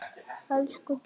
Elsku Dísa.